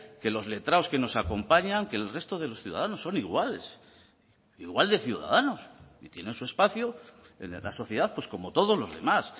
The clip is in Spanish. que los letrados que nos acompañan que el resto de los ciudadanos son iguales igual de ciudadanos y tienen su espacio en la sociedad pues como todos los demás